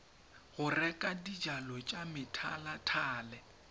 go reka dijalo tsa methalethale